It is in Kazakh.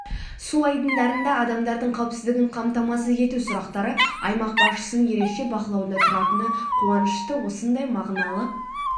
су айдындарында адамдардың қауіпсіздігін қамтамасыз ету сұрақтары аймақ басшысының ерекше бақылауында тұратыны қуанышты осындай мағыналы